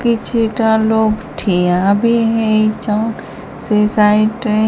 କିଛିଟା ଲୋକ୍ ଠିଆବି ହେଇଛନ୍ ସେ ସାଇଟ୍ ରେ --